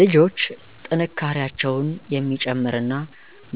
ልጆች ጥንካሬያቸውን የሚጨምር እና